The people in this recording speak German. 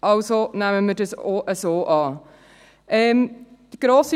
Also nehmen wir das auch so an.